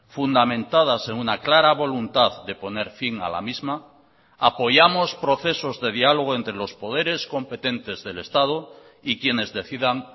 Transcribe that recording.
fundamentadas en una clara voluntad de poner fin a la misma apoyamos procesos de diálogo entre los poderes competentes del estado y quiénes decidan